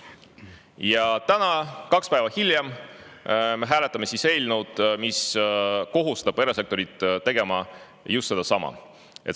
Ja täna, kaks päeva hiljem me hääletame eelnõu, mis kohustab erasektorit just seda tegema!